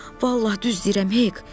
Vallah düz deyirəm, Hek.